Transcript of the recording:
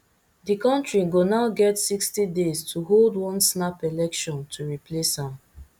di country go now get sixty days to hold one snap election to replace am